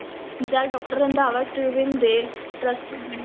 ਜਦ doctor Randhawa Tribune ਦੇ